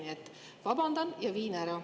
Nii et vabandan ja viin ära.